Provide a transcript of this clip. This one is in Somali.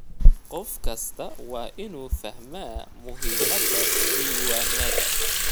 Qof kastaa waa inuu fahmaa muhiimada diiwaanada.